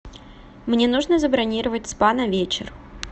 мне нужно забронировать спа на вечер